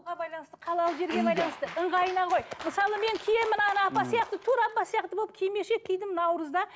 байланысты қалалы жерге байланысты ыңғайына ғой мысалы мен киемін мына апа сияқты тура бұл сияқты кимешек кидім наурызда